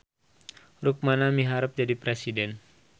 Rukmana miharep jadi presiden